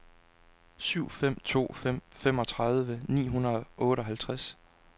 syv fem to fem femogtredive ni hundrede og otteoghalvfems